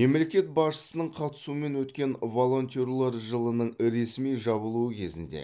мемлекет басшысының қатысуымен өткен волонтерлер жылының ресми жабылуы кезінде